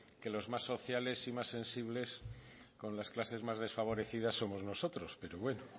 que los más sociales y más sensibles con las clases más desfavorecidas somos nosotros pero bueno